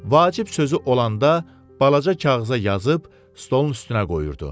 Vacib sözü olanda balaca kağıza yazıb stolun üstünə qoyurdu.